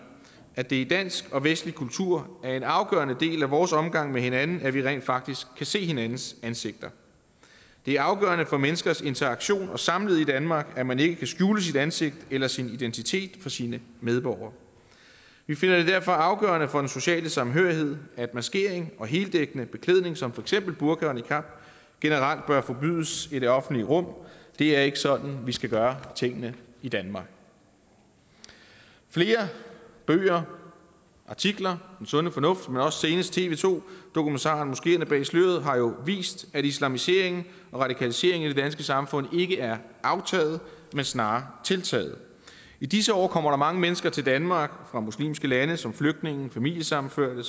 at det i dansk og vestlig kultur er en afgørende del af vores omgang med hinanden at vi rent faktisk kan se hinandens ansigter det er afgørende for menneskers interaktion og samlivet i danmark at man ikke kan skjule sit ansigt eller sin identitet for sine medborgere vi finder det derfor afgørende for den sociale samhørighed at maskering og heldækkende beklædning som for eksempel burka og niqab generelt bør forbydes i det offentlige rum det er ikke sådan vi skal gøre tingene i danmark flere bøger artikler den sunde fornuft men også senest tv to dokumentaren moskeerne bag sløret har jo vist at islamiseringen og radikaliseringen i det danske samfund ikke er aftaget men snarere tiltaget i disse år kommer der mange mennesker til danmark fra muslimske lande som flygtninge familiesammenførte